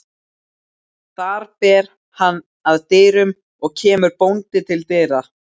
Þar ber hann að dyrum og kemur bóndi til dyra.